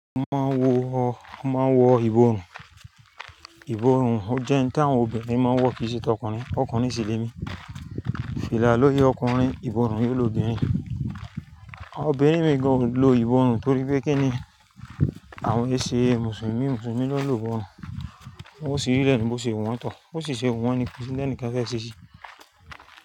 A máa ń wọ ọ, a máa ń wọ ìborùn. Ìborùn jẹ́ ohun tí àwọn obìnrin máa ń wọ kì í ṣe tọkùnrin, tọkùnrin sì le mi. Fìlà lori ọkùnrin, ìborùn lori óbìnrin. Àwọn obìnrin mìí gàn o lo ìborùn torí pé kíni àwọn èsè mùsùlùmí, mùsùlùmí ló lò ó. Wọ́n sì rilẹ̀ ní bó ṣe wọ́n tọ̀. Bó sì ṣe wu wọ́n ni ko si n tẹ nìkan fẹ́ ṣe ṣí.